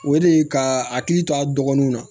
O de ye ka hakili to a dɔgɔninw na